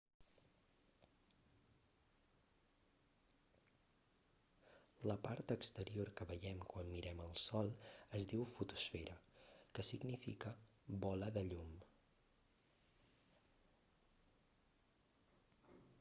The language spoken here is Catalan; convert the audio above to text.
la part exterior que veiem quan mirem el sol es diu fotosfera que significa bola de llum